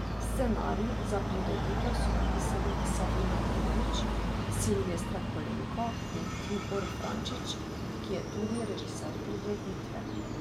Scenarij za prireditev so napisali Sabina Borovič, Silvestra Kolenko in Tibor Frančič, ki je tudi režiser prireditve.